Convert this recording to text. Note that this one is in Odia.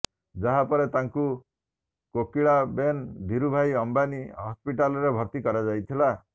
ଯାହା ପରେ ତାଙ୍କୁ କୋକିଳାବେନ ଧିରୁଭାଇ ଅମ୍ବାନି ହସ୍ପିଟାଲରେ ଭର୍ତ୍ତି କରାଯାଇଥିଲା